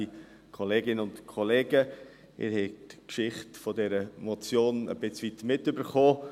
Sie haben die Geschichte dieser Motion etwas mitbekommen.